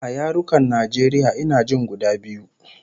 A yarukan Najeriya ina jin guda biyu